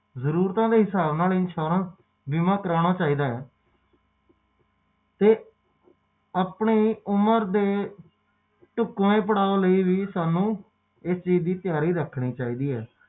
ਸੱਤ ਵਾਰੀ ਬੀਮਾ ਕਰਾਉਂਦਾ ਹੈ